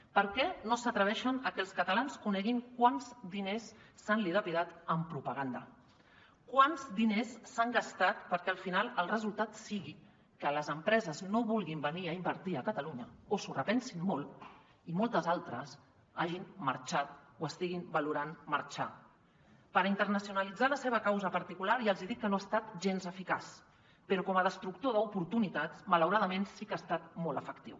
per què no s’atreveixen a que els catalans coneguin quants diners s’han dilapidat en propaganda quants diners s’han gastat perquè al final el resultat sigui que les empreses no vulguin venir a invertir a catalunya o s’ho repensin molt i moltes altres hagin marxat o estiguin valorant marxar per internacionalitzar la seva causa particular ja els hi he dit que no ha estat gens eficaç però com a destructor d’oportunitats malauradament sí que ha estat molt efectiu